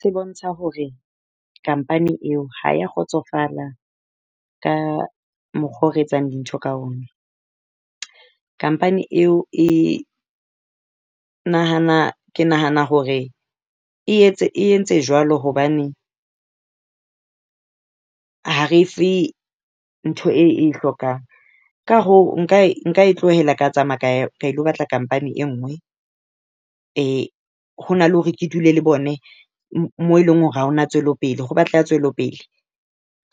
Se bontsha hore company eo ha e a kgotsofala ka mokgwa oo re etsang dintho ka ona. Company eo e nahana ke nahana hore e entse jwalo hobane ha re e fe ntho e e hlokang. Ka hoo nka nka e tlohela ka tsamaya ka ilo batla company e nngwe. Ho na le hore ke dule le bone-cs] moo e leng hore ha ho na tswelopele. Ho batleha tswelopele.